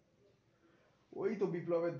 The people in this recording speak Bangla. ওই তো বিপ্লবের